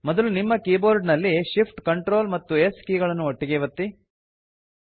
ಮೊದಲು ನಿಮ್ಮ ಕೀಬೋರ್ಡ್ ನಲ್ಲಿ shift ctrl ಮತ್ತು s ಕೀ ಗಳನ್ನು ಒಟ್ಟಿಗೇ ಒತ್ತಿ